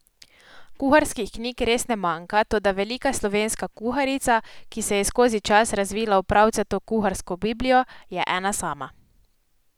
Kuharskih knjig res ne manjka, toda Velika slovenska kuharica, ki se je skozi čas razvila v pravcato kuharsko biblijo, je ena sama.